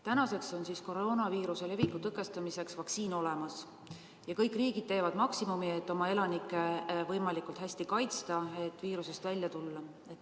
Tänaseks on koroonaviiruse leviku tõkestamiseks vaktsiin olemas ja kõik riigid teevad maksimumi, et oma elanikke võimalikult hästi kaitsta, et kriisist välja tulla.